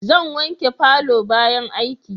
Zan wanke palour bayan aiki